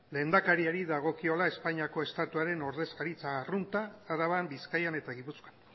lehendakariari dagokiola espainiako estatuaren ordezkaritza arrunta araban bizkaian eta gipuzkoan